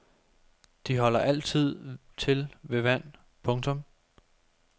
De holder altid til ved vand. punktum